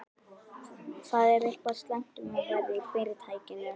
Það er eitthvað slæmt um að vera í Fyrirtækinu.